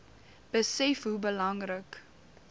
besef hoe belangrik